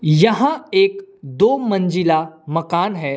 यहां एक दो मंजिला मकान है।